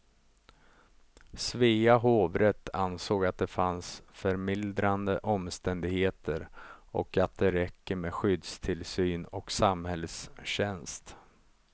Svea hovrätt ansåg att det fanns förmildrande omständigheter och att det räcker med skyddstillsyn och samhällstjänst.